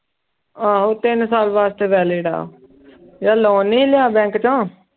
ਆਹੋ ਤਿੰਨ ਸਾਲ ਵਾਸਤੇ valid ਆ ਜੇ loan ਨੀ ਲਿਆ ਬੈਂਕ ਚੋਂ